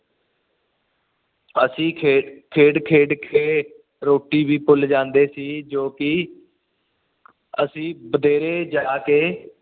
ਅਸੀਂ ਖੇਡ ਖੇਡਕੇ ਰੋਟੀ ਵੀ ਭੁਲ ਜਾਂਦੇ ਸੀ ਜੋ ਕਿ ਅਸੀਂ ਬਥੇਰੇ ਜਾ ਕੇ